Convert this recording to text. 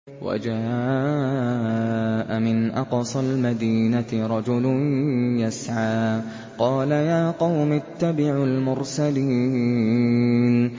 وَجَاءَ مِنْ أَقْصَى الْمَدِينَةِ رَجُلٌ يَسْعَىٰ قَالَ يَا قَوْمِ اتَّبِعُوا الْمُرْسَلِينَ